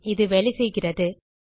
ஆம் இது வேலை செய்கிறது